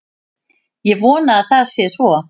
Ég vona að það sé svo